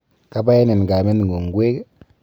Kabaenin kameng'ung' ngwek?